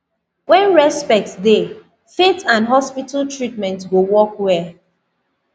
when respect dey faith and hospital treatment go work well